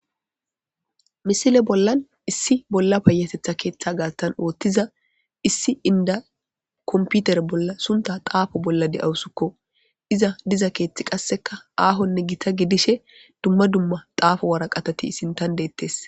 Issi keeththan bolla payateththa othiza macassiya computer bolla xufe xafashshe dawus iza diza keththi kehi dalga gidishin izi sinththankka waraqatati de"ossona